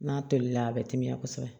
N'a tolila a bɛ timiya kosɛbɛ